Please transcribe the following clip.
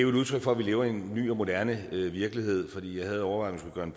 udtryk for at vi lever i en ny og moderne virkelighed og jeg havde overvejet om